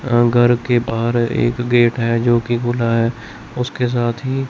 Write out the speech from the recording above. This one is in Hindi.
अ घर के बाहर एक गेट है जोकि खुला है उसके साथ ही--